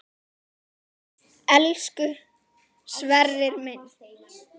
Elsku Sverrir minn.